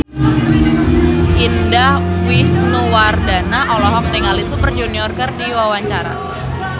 Indah Wisnuwardana olohok ningali Super Junior keur diwawancara